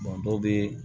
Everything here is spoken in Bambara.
dɔw bɛ